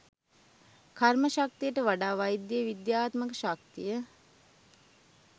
කර්ම ශක්තියට වඩා වෛද්‍ය විද්‍යාත්මක ශක්තිය